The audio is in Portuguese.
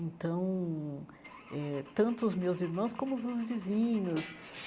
Então, eh tanto os meus irmãos como os vizinhos.